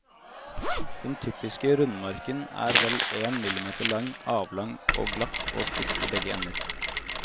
Den typiske rundmarken er vel én millimeter lang, avlang og glatt og spiss i begge ender.